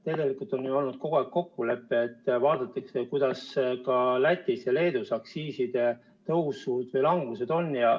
Tegelikult on ju olnud kogu aeg kokkulepe, et vaadatakse ka, kuidas Lätis ja Leedus aktsiiside tõusud või langused on.